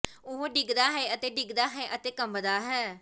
ਉਹ ਡਿੱਗਦਾ ਹੈ ਅਤੇ ਡਿੱਗਦਾ ਹੈ ਅਤੇ ਕੰਬਦਾ ਹੈ